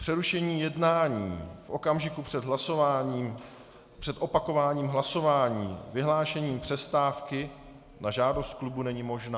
Přerušení jednání v okamžiku před hlasováním, před opakováním hlasování, vyhlášení přestávky na žádost klubu není možné."